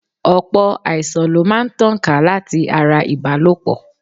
Ọ̀pọ̀ àìsàn lo máa ń tàn ká láti ara ìbálòpọ̀.